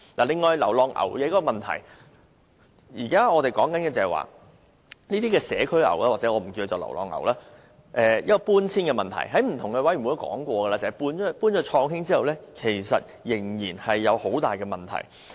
另外是流浪牛的問題，現時我們談論搬遷這些社區牛的問題，我們曾在不同委員會談過，將牠們遷到創興水上活動中心後，仍然有很多問題。